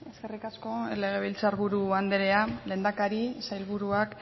eskerrik asko legebiltzar buru andrea lehendakari sailburuak